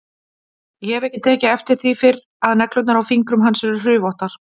Ég hef ekki tekið eftir því fyrr að neglurnar á fingrum hans eru hrufóttar.